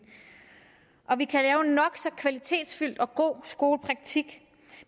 og vi kan lave en nok så kvalitetsfyldt og god skolepraktik